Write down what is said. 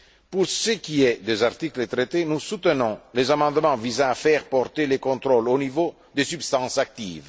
Pour ce qui est des articles traités, nous soutenons les amendements visant à faire porter les contrôles au niveau des substances actives.